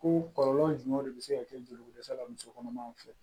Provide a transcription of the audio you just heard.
Ko kɔlɔlɔ jumɛn de be se ka kɛ joliko dɛsɛ la musokɔnɔmaw fɛ